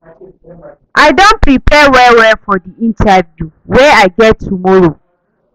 I don prepare well-well for di interview wey I get tomorrow.